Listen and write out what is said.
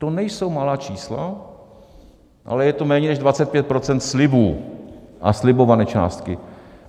To nejsou malá čísla, ale je to méně než 25 % slibů a slibované částky.